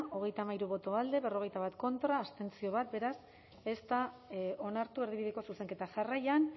hogeita hamairu boto alde berrogeita bat contra bat abstentzio beraz ez da onartu erdibideko zuzenketa jarraian